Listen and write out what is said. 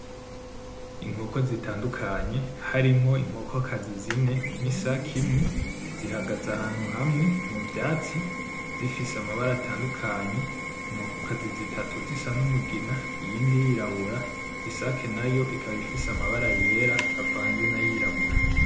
Inkoko zitandukanye harimwo inkokokazi zine n’isaki imwe zihagaze ahantu hamwe muvyatsi, zifise amabara atandukanye, inkokokazi zitatu zisa n’umugina iyindi yirabura, isaki nayo ikaba ifise amabara yera avanze nayirabura.